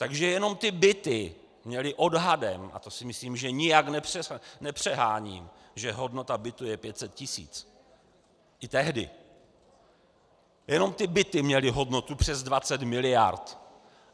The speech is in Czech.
Takže jenom ty byty měly odhadem, a to si myslím, že nijak nepřeháním, že hodnota bytu je 500 tisíc, i tehdy, jenom ty byty měly hodnotu přes 20 miliard.